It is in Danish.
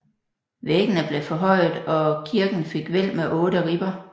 Væggene blev forhøjet og kirken fik hvælv med otte ribber